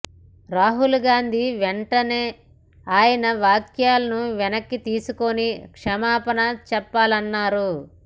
రాహుల్ గాంధీ వెంటనే ఆయన వ్యాఖ్యలను వెనక్కితీసుకుని క్షమాపణ చెప్పాలన్నారు